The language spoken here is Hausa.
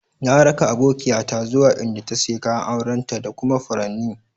Na ra'ka abokiya ta zuwa inda ta siya kayan auren ta da kuma faranin.